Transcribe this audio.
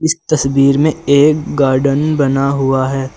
तस्वीर में एक गार्डन बना हुआ है।